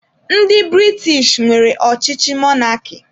Ndị British nwere ọchịchị mọnarki.